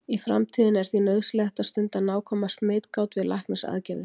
í framtíðinni er því nauðsynlegt að stunda nákvæma smitgát við læknisaðgerðir